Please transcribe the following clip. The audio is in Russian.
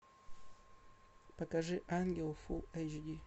покажи ангел фулл эйч ди